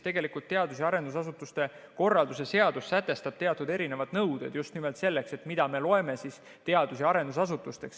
Tegelikult teadus- ja arendustegevuse korralduse seadus sätestab teatud erinevad nõuded, mida me loeme teadus- ja arendusasutusteks.